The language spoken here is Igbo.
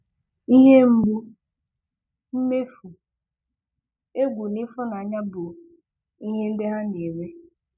Ihe mgbu, mmefu, egwu na ịfụnanya bụ ihe ndị ha na-enwe.